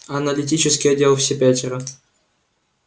аналитический отдел все пятеро